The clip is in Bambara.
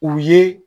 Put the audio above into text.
U ye